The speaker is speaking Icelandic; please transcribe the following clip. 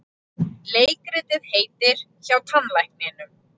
Leikritið heitir HJÁ TANNLÆKNINUM.